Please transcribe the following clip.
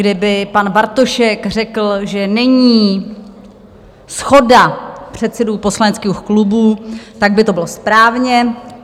Kdyby pan Bartošek řekl, že není shoda předsedů poslaneckých klubů, tak by to bylo správně.